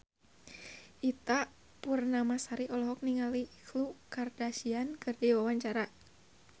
Ita Purnamasari olohok ningali Khloe Kardashian keur diwawancara